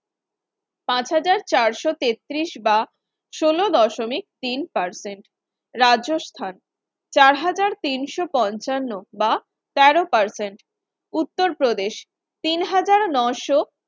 পাঁচ হাজার চারশ তেত্রিশ বা ষোল দশমিক তিন Percent রাজস্থান চার হাজার তিনশো পনছান্ন বা তের Percent উত্তরপ্রদেশ তিন হাজার নশো